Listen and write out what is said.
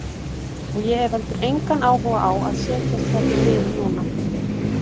Og ég hef heldur engan áhuga á að setjast hérna niður núna.